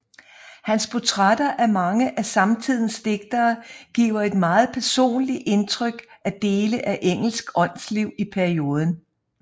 Hans portrætter af mange af samtidens digtere giver et meget personligt indtryk af dele af engelsk åndsliv i perioden